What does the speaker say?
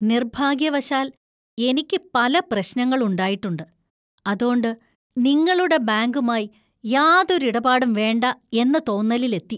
നിർഭാഗ്യവശാൽ എനിക്ക് പല പ്രശ്നങ്ങൾ ഉണ്ടായിട്ടുണ്ട്, അതോണ്ട് നിങ്ങളുടെ ബാങ്കുമായി യാതൊരു ഇരുപാടും വേണ്ട എന്ന തോന്നലിലെത്തി.